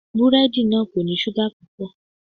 Búrẹ́dì náà kò ní ṣúgà púpọ̀.